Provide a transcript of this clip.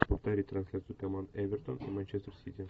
повтори трансляцию команд эвертон и манчестер сити